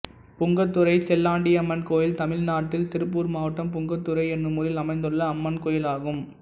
புங்கத்துறை செல்லாண்டியம்மன் கோயில் தமிழ்நாட்டில் திருப்பூர் மாவட்டம் புங்கத்துறை என்னும் ஊரில் அமைந்துள்ள அம்மன் கோயிலாகும்